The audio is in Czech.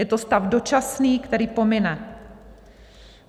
Je to stav dočasný, který pomine.